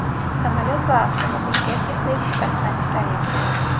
Samolyot va avtomobilga texnik shikastlanishlar yetgan.